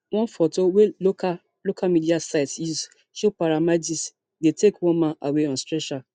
one foto wey local local media sites use show paramedics dey take one man away on stretcher